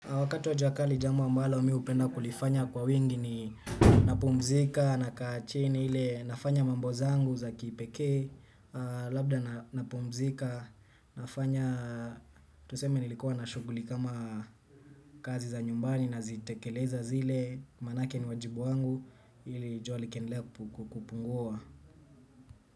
Wakati wa jua kali jambo ambalo mi hupenda kulifanya kwa wingi ni napumzika nakaa chini ile nafanya mambo zangu za kipekee labda napumzika nafanya tuseme nilikuwa na shughuli kama kazi za nyumbani nazitekeleza zile kwa maanake ni wajibu wangu ili jua likiendelea kupungua.